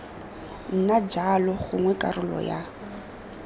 nna jalo gongwe karolo ya